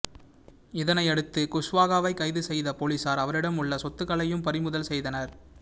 இதனையடுத்து குஷ்வாகாவை கைது செய்த போலீசார் அவரிடம் உள்ள சொத்துக்களையும் பறிமுதல் செய்தனர்